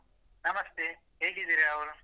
ನಮಸ್ತೇ ಹೇಗಿದ್ದೀರಾ ವರುಣ್?